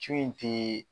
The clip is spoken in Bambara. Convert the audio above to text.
Co in te